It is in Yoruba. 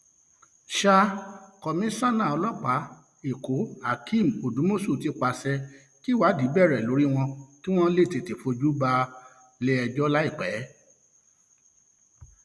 sa um komisanna ọlọpàá ẹkọhakeem odùmọṣù ti pàṣẹ kíwádìí bẹrẹ lórí wọn kí wọn lè tètè fojú um wọn balẹẹjọ láìpẹ